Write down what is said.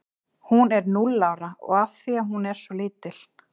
Hún er núll ára af því að hún er svo lítil.